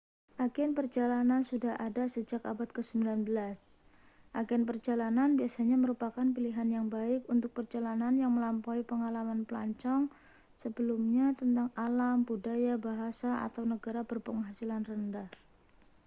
agen perjalanan sudah ada sejak abad ke-19 agen perjalanan biasanya merupakan pilihan yang baik untuk perjalanan yang melampaui pengalaman pelancong sebelumnya tentang alam budaya bahasa atau negara berpenghasilan rendah